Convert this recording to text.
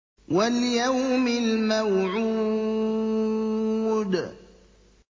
وَالْيَوْمِ الْمَوْعُودِ